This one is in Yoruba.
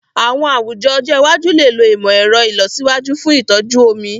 Àwọn àwùjọ ọjọ́ iwájú lè lo ìmọ̀ ẹ̀rọ ìlọsíwájú fún ìtọ́jú omi.